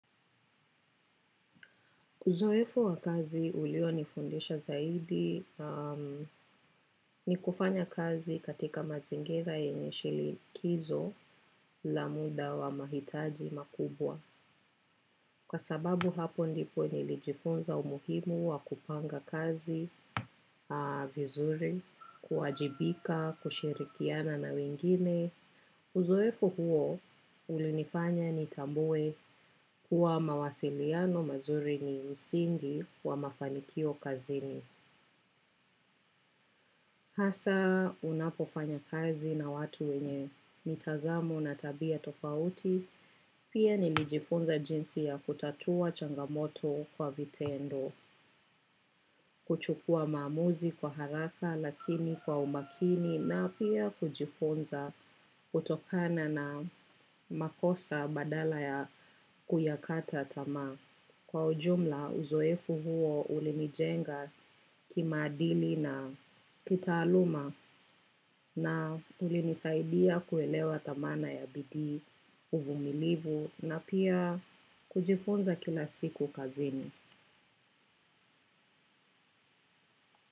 Uzoefo wa kazi ulionifundisha zaidi ni kufanya kazi katika mazingira yenye shinikizo la muda wa mahitaji makubwa. Kwa sababu hapo ndipo nilijifunza umuhimu wa kupanga kazi vizuri, kuwajibika, kushirikiana na wengine. Uzoefu huo, ulinifanya nitambue kuwa mawasiliano mazuri ni msingi wa mafanikio kazini. Hasa unapofanya kazi na watu wenye mitazamo na tabia tofauti, pia nilijifunza jinsi ya kutatua changamoto kwa vitendo, kuchukua maamuzi kwa haraka lakini kwa umakini na pia kujifunza kutokana na makosa badala ya kuyakata tamaa. Kwa ujumla uzoefu huo ulinijenga kimaadili na kitaaluma na ulinisaidia kuelewa thamana ya bidii uvumilivu na pia kujifunza kila siku kazini.